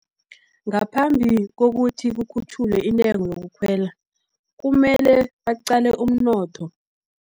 Ngaphambi kokuthi, kukhutjhulwe intengo yokukhwela, kumele baqale umnotho.